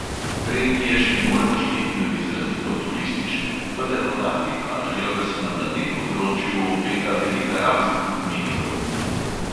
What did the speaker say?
"Regije še ne moremo šteti med izrazito turistične, vendar podatki kažejo, da se nam na tem področju obeta velika rast," meni protner.